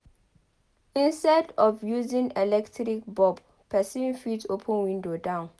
Instead of using electric bulb person fit open window down